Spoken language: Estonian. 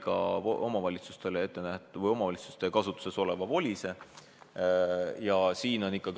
Jah, me käisime läbi ka omavalitsuste kasutuses oleva VOLIS-e.